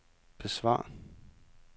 besvar